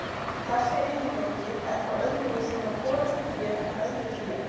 Þessi eiginleiki er þó öðruvísi hjá forystufé en öðru fé.